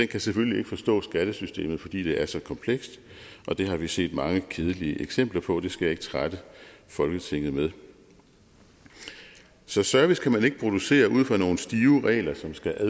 kan selvfølgelig ikke forstå skattesystemet fordi det er så komplekst det har vi set mange kedelige eksempler på det skal jeg ikke trætte folketinget med så service kan man ikke producere ud fra nogle stive regler som skal